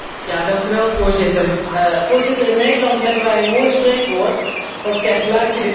Voorzitter, in Nederland hebben wij een mooi spreekwoord dat zegt 'laat je de kaas niet van het brood eten'.